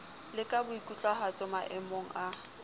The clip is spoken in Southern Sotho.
le ka boikutlwahatso maemong a